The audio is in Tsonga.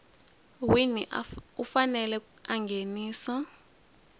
wini u fanele a nghenisa